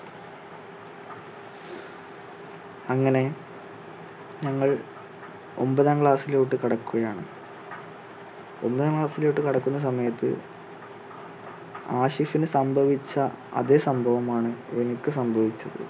അങ്ങനെ ഞങ്ങൾ ഒൻപതാം class ിലോട്ട് കടക്കുകയാണ്, ഒൻപതാം class ിലോട്ട് കടക്കുന്ന സമയത്ത് ആഷിഷിന് സംഭവിച്ച അതേ സംഭവം ആണ് എനിക്ക് സംഭവിച്ചത്.